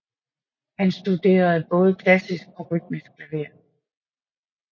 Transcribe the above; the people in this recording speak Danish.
Han studerede både klassisk og rytmisk klaver